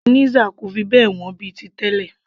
mayonnaise kò fi bẹ́ẹ̀ wọ́n mọ́ bíi ti tẹlẹ